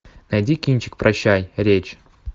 найди кинчик прощай речь